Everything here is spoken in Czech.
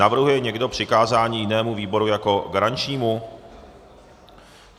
Navrhuje někdo přikázání jinému výboru jako garančnímu?